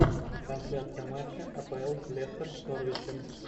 трансляция матча апл лестер с норвичем